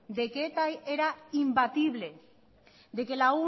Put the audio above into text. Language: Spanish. de que eta era imbatible de que